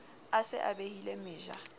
a se a behile meja